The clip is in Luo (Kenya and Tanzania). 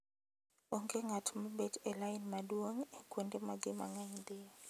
Onge ng'at ma bet e lain maduong' e kuonde ma ji mang'eny dhiye.